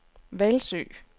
Hvalsø